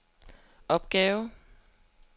opgave